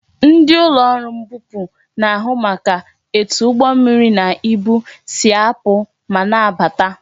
Ndị ọrụ mbupu na-ahụ maka etu ụgbọ mmiri na ibu si apụ ma na abata